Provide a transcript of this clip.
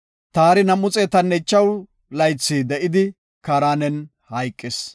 Taari 205 laythi de7idi Kaaranen hayqis.